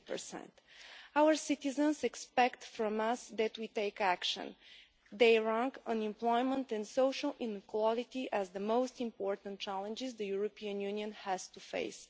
20. Our citizens expect us to take action they rank unemployment and social inequality as the most important challenges the European Union has to face.